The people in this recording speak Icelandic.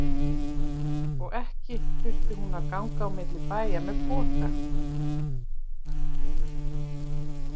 Og ekki þurfti hún að ganga á milli bæja með poka.